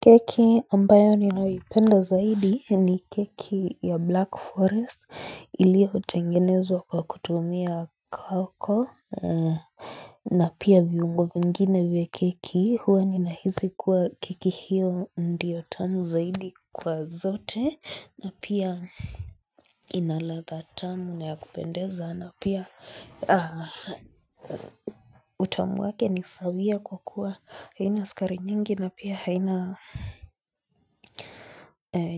Keki ambayo ninawipenda zaidi ni keki ya black forest ilia utengenezwa kwa kutumia koko na pia viungo mingine vya keki huwa nina hizi kuwa keki hiyo ndiyo tamu zaidi kwa zote na pia Inalatha tamu na ya kupendeza na pia utamu wake nisabia kwa kuwa haini uskari nyingi na pia haina